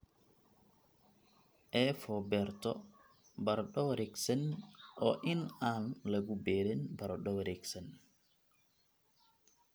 A for beerto baradho wareegsan waa in aan lagu beerin baradho wareegsan